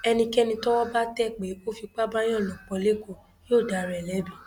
ẹnikẹni tọwọ bá tẹ pé ó fipá báàyàn lò pọ lẹkọọ yóò dára ẹ lẹbi